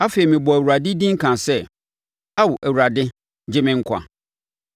Afei mebɔɔ Awurade din kaa sɛ, “Ao Awurade, gye me nkwa!”